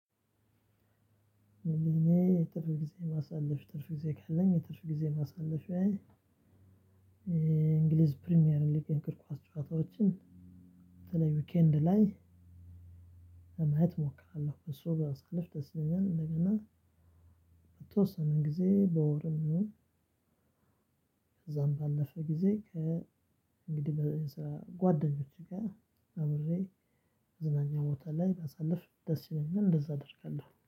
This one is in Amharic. እኔ የትርፍ ጊዜ ማሳለፍ ትርፍ ጊዜ ካለኝ የትርፍ ጊዜ ማሳለፍያዬ እንግሊዝ ፕሪሚየር ሊግ የእግር ኳስ ጨዋታዎችን በተለይ ዊኬንድ ላይ ለማየት እሞክራለሁ በሱ ባሳልፍ ደስ ይለኛል። እንደገና በተወሰነ ጊዜ በወር ነው። ከዛም ባለፈ ጊዜ ከ እንግዲህ በዛ ጓደኞች ጋር አብሬ መዝናኛ ቦታ ላይ ባሳልፍ ደስ ይለኛል እንደዛ አደርጋለሁ